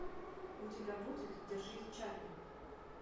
у тебя будет держись чарли